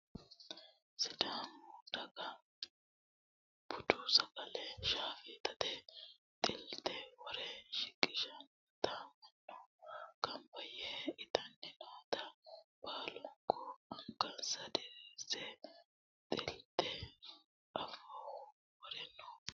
sidaamu daga budu sagale shaafeeeta xilteho worre shiqinshoonnita mannu ganba yee itanni noota baalunku angansa diriirse xilteho afooho wore no